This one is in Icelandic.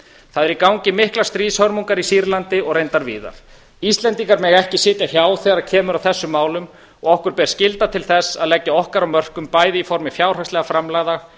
það eru í gangi miklar stríðshörmungar í sýrlandi og reyndar víðar íslendingar mega ekki sitja hjá þegar kemur að þessum málum okkur ber skylda til þess að leggja okkar af mörkum bæði í formi fjárhagslegra framlaga